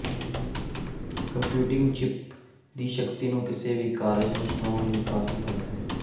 computing chip ਦੀ ਸ਼ਕਤੀ ਨੂੰ ਕਿਸੇ ਵੀ ਕਾਰਜ ਨੂੰ ਚਲਾਉਣ ਲਈ ਕਾਫ਼ੀ ਵੱਧ ਹੈ